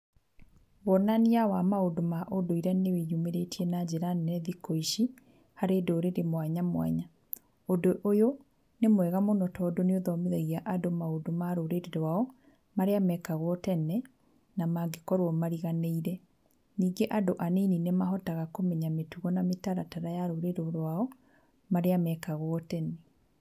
Wonania wa maũndũ ma ũndũire nĩ wĩyumĩrĩtie na njĩra nene thikũ ici harĩ ndũrĩrĩ mwanya mwanya. Ũndũ ũyũ nĩ mwega mũno tondũ nĩ ũthomithagia andũ maũndũ ma rũrĩrĩ rwao marĩa mekagwo tene na mangĩkorwo mariganĩire. Ningĩ andũ anini nĩ mahotaga kũmenya mĩtugo na mĩtaratara ya rũrĩrĩ rwao marĩa mekagwo tene.